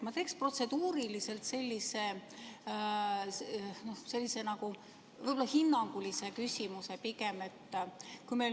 Ma esitaks protseduuriliselt võib-olla pigem hinnangulise küsimuse.